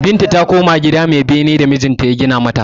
Binta ta koma gida mai bene da mijinta ya gina mata.